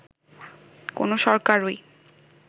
কোনো সরকারই